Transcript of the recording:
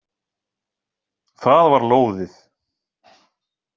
Það var lóðið.